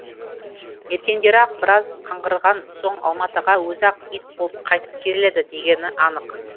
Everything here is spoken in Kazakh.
ертеңдері ақ біраз қаңғырған соң алматыға өзі ақ ит болып қайтып келеді дегені анық